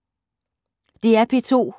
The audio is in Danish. DR P2